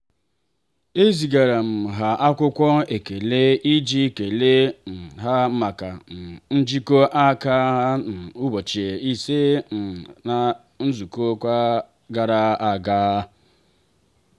ezigara m ha akwụkwọ ekele iji kelee um ha maka um njikọ aka ha na ụbọchị ise um na izuụka gara aga.